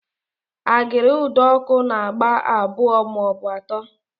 Agịrị ụdọọkụ na-agba abụọ maọbụ atọ